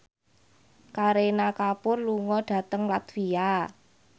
Kareena Kapoor lunga dhateng latvia